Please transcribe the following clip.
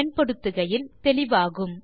பயன்படுத்துகையில் தெளிவாகும்